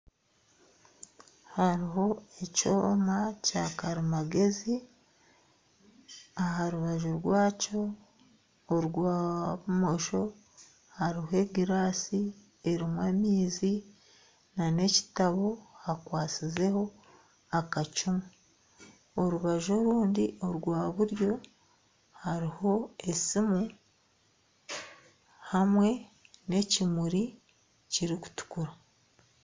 Hariho ekyoma kya karimagyezi. Aha rubaju rwakyo orwa bumosho hariho egiraasi erimu amaizi na n'ekitabo hakwasizeho akacumu. Orubaju orundi orwa buryo hariho esiimu hamwe n'ekimuri kirikutukura.